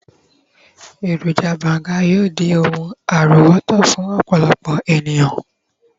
eroja banga yíò di oun àrówòtó fún ọpọlọpọ eniyan.